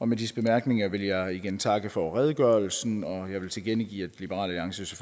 med disse bemærkninger vil jeg igen takke for redegørelsen og jeg vil tilkendegive at liberal alliance